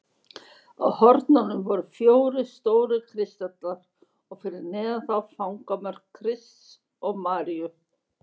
Á hornunum voru fjórir stórir kristallar og fyrir neðan þá fangamörk Krists og Maríu.